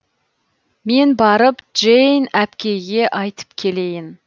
мен барып джейн әпкейге айтып келейін